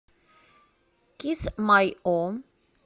кисмайо